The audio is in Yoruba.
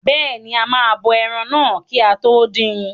Bẹ́ẹ̀ni, a máa bọ ẹran náà kí a tó dín in.